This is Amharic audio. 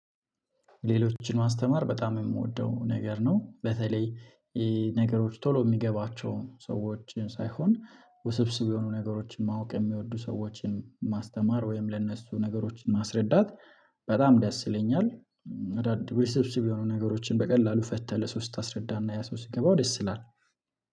ሌሎችን ማስተማር በጣም የምወደው ነገር ነው በተለይ ነገሮች ቶሎ የሚገባቸውን ሰዎችን ሳይሆን ውስብስብ የሆኑ ነገሮችን ማወቅ የሚወዱ ሰዎችን ማስተማር ወይም ለእነሱ ነገሮችን ማስረዳት በጣም ደስ ይለኛል። ውስብስብ የሆኑ ነገሮችን በቀላሉ ፈተህ ለሰው ስታስረዳ እና ያ ሰው ሲገባው ደስ ይላል።